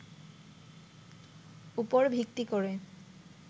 উপর ভিত্তি করে